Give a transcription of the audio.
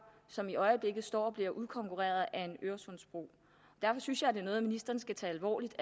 som i øjeblikket står for at blive udkonkurreret af en øresundsbro derfor synes jeg at det er noget ministeren skal tage alvorligt